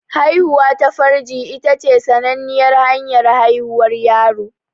Haihuwa ta farji ita ce sananniyar hanyar haihuwar yaro.